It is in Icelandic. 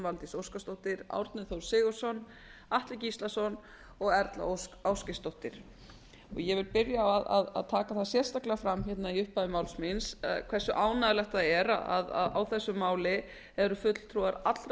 valdís óskarsdóttir árni þór sigurðsson atli gíslason og erla ósk ásgeirsdóttir ég vil byrja á að taka það sérstaklega fram í upphafi máls míns hversu ánægjulegt það er að á þessu máli eru fulltrúar allra